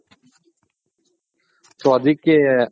so ಅದಿಕೆ